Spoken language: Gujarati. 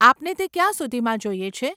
આપને તે ક્યાં સુધીમાં જોઈએ છે?